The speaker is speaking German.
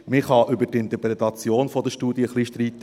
Man kann über die Interpretation der Studie ein wenig streiten.